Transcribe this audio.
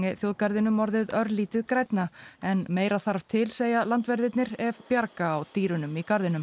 þjóðgarðinum orðið örlítið grænna en meira þarf til segja landverðirnir ef bjarga á dýrunum í garðinum